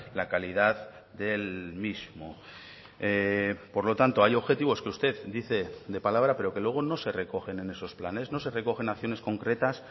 la calidad del mismo por lo tanto hay objetivos que usted dice de palabra pero que luego no se recogen en esos planes no se recogen acciones concretas